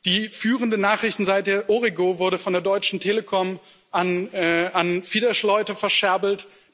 Die führende Nachrichtenseite Origó wurde von der Deutschen Telekom an Fidesz Leute verscherbelt.